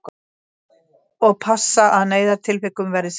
Og passa að neyðartilvikum verði sinnt